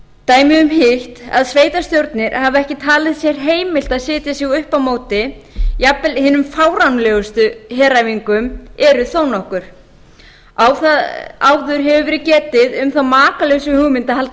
dæmi um hitt að sveitarstjórnir hafi ekki talið sér heimilt að setja sig upp á móti jafnvel hinum fáránlegustu heræfingum eru þó nokkur áður hefur verið getið um þá makalausu hugmynd að halda